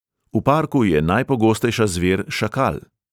V parku je najpogostejša zver šakal.